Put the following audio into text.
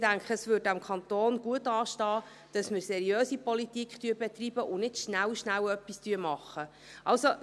Ich denke, dass es dem Kanton gut anstünde, wenn wir seriöse Politik betreiben und nicht schnell, schnell etwas machen würden.